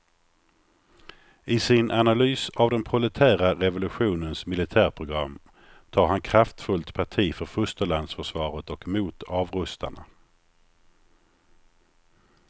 I sin analys av den proletära revolutionens militärprogram tar han kraftfullt parti för fosterlandsförsvaret och mot avrustarna.